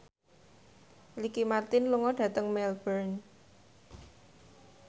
Ricky Martin lunga dhateng Melbourne